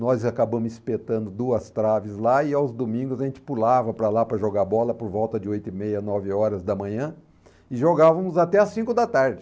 Nós acabamos espetando duas traves lá e aos domingos a gente pulava para lá para jogar bola por volta de oito e meia, nove horas da manhã e jogávamos até as cinco da tarde.